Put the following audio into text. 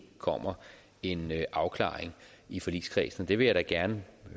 kommer en afklaring i forligskredsen jeg vil da gerne